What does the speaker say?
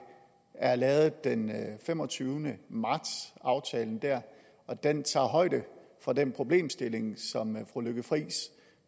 er lavet den femogtyvende marts aftalen der og den tager højde for den problemstilling som fru lykke friis